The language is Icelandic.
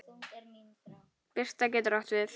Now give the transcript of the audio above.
Birta getur átt við